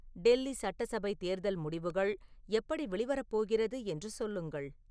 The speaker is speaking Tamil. டெல்லி சட்டசபை தேர்தல் முடிவுகள் எப்படி வெளிவரப்போகிறது என்று சொல்லுங்கள்